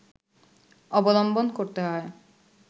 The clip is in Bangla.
অবলম্বন করতে হয়